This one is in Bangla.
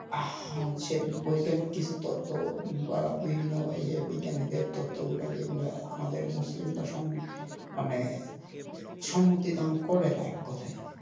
বৈজ্ঞানিক কিছু তথ্য বা বিভিন্ন তথ্য গুলোকে আমাদের মুসলিমরা সম্মুখীন মানে সম্মতি দান করে না এক কথায়।